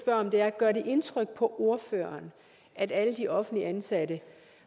om er gør det indtryk på ordføreren at alle de offentligt ansatte